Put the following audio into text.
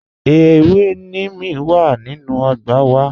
Ẹ̀wẹ̀ nímìí wà nínu ọgbà wà